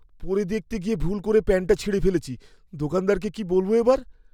পরে দেখতে গিয়ে ভুল করে প্যান্টটা ছিঁড়ে ফেলেছি। দোকানদারকে কি বলবো এবার?